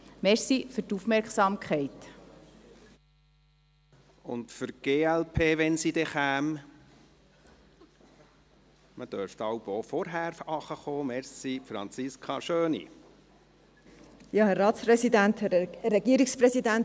Und für die glp, wenn sie denn käme – man dürfte jeweils auch schon früher runterkommen, vielen Dank –, Franziska Schöni.